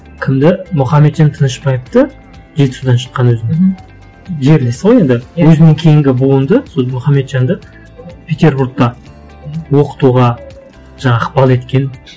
кімді мұхаметжан тынышбаевты жеті жылдан шыққан өзін жерлесі ғой енді өзінің кейінгі буынды сол мұхаметжанды петербургта оқытуға жаңа ықпал еткен